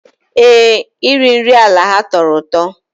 Ee, iri nri ala ha tọrọ ụtọ